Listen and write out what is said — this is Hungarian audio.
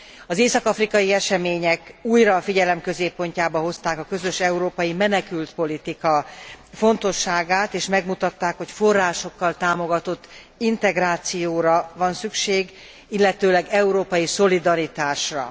Az észak afrikai események újra a figyelem középpontjába hozták a közös európai menekültpolitika fontosságát, és megmutatták, hogy forrásokkal támogatott integrációra van szükség, illetőleg európai szolidaritásra.